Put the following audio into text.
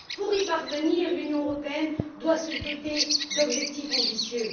Pour y parvenir, l'Union européenne doit se doter d'objectifs ambitieux.